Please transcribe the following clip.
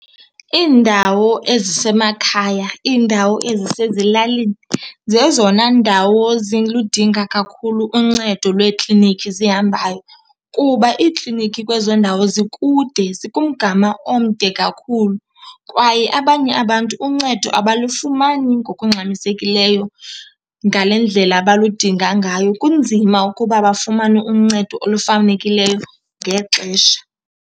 Iindawo ezisemakhaya, iindawo ezisezilalini zezona ndawo ziludinga kakhulu uncedo lweeklinikhi zihambayo kuba iikliniki kwezo ndawo zikude, zikumgama omde kakhulu kwaye abanye abantu uncedo abalufumani ngokungxamisekileyo ngale ndlela baludinga ngayo. Kunzima ukuba bafumane uncedo olufanekileyo ngexesha.